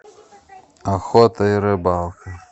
охота и рыбалка